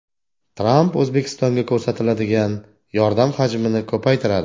Tramp O‘zbekistonga ko‘rsatiladigan yordam hajmini ko‘paytiradi.